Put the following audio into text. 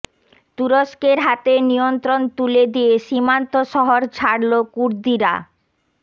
তুরস্কের হাতে নিয়ন্ত্রণ তুলে দিয়ে সীমান্ত শহর ছাড়লো কুর্দিরা